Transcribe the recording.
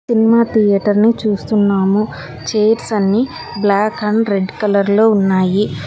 Cinema థియేటర్ని చూస్తున్నాము chairs అన్ని బ్లాక్ అండ్ రెడ్ కలర్ లో ఉన్నాయి.